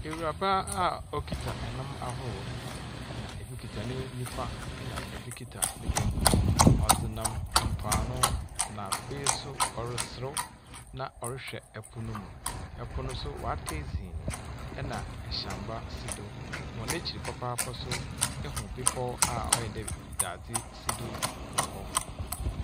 Awuraba a okita ɛnam ahorow. Na ebi kita ne nifa ɛna ebi kita ne benkum. Ɔdze nam mpo ano. Na afei nso ɔreserew. Na ɔrehwɛ ɛpo no mu. Ɛpo no nso wata dzin. Ɛna ɛhyɛn ba si do. Wɔn akyi papapaa so, ehu bepɔw a ɔyɛ dɛ dade si do wɔhɔ.